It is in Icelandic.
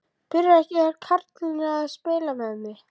Spyr því undrandi: Eru karlarnir að spila með mig?